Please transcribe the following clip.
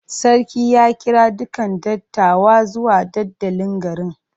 Sarki ya kira dukan dattawa zuwa dandalin garin.